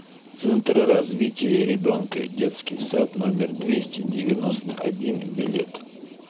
центр развития ребенка детский сад номер двести девяносто один билет